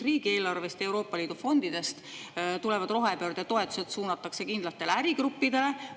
Riigieelarvest ja Euroopa Liidu fondidest tulevad rohepöördetoetused suunatakse kindlatele ärigruppidele.